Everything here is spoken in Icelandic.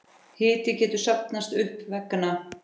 Hiti getur safnast upp vegna